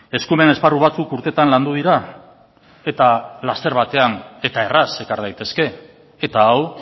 eskumen esparru batzuk urtetan landu dira eta laster batean eta erraz ekar daitezke eta hau